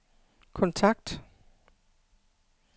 kontakt